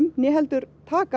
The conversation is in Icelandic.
né heldur taka